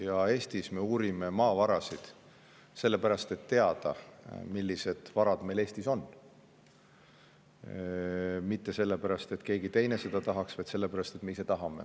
Ja Eestis me uurime maavarasid sellepärast, et teada, millised varad meil Eestis on, mitte sellepärast, et keegi teine seda tahaks, vaid sellepärast, et me ise tahame.